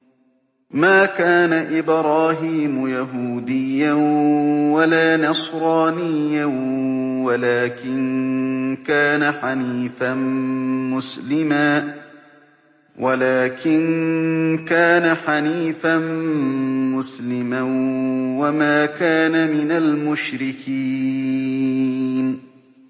مَا كَانَ إِبْرَاهِيمُ يَهُودِيًّا وَلَا نَصْرَانِيًّا وَلَٰكِن كَانَ حَنِيفًا مُّسْلِمًا وَمَا كَانَ مِنَ الْمُشْرِكِينَ